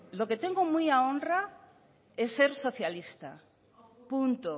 lo que tengo muy a honra es ser socialista punto